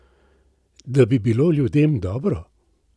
Da bi bilo ljudem dobro?